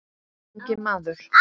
Ungi maður